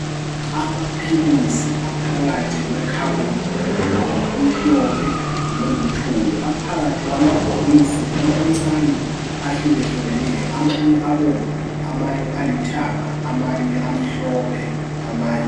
Amaphilisi aphakathi kwe khabothi elombala omhlophe loluthuli. Aphakathi kwamabhokosi amancane ahlukehlukeneyo amanye abomvu ,amanye alithanga, amanye amhlophe amanye.